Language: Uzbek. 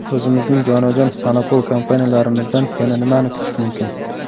o‘zimizning jonajon monopol kompaniyalarimizdan yana nimani kutish mumkin.